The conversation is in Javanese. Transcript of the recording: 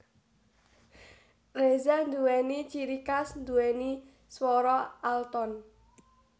Reza nduwéni ciri khas nduwéni swara alton